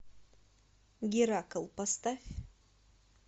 геракл поставь